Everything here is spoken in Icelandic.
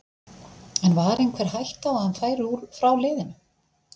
En var einhver hætta á að hann færi frá liðinu?